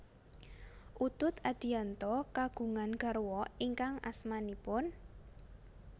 Utut Adianto kagungan garwa ingkang asmanipun